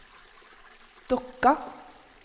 Dokka